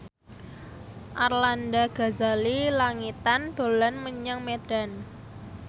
Arlanda Ghazali Langitan dolan menyang Medan